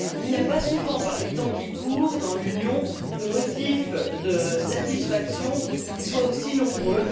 Il n'y a pas souvent, par les temps qui courent, dans l'Union, de motifs de satisfaction qui soient aussi nombreux.